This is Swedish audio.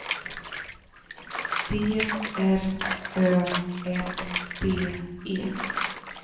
D R Ö M D E